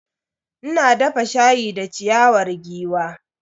Ina dafa shayi da ciyawar giwa.